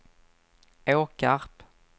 Åkarp